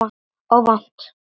Og vont.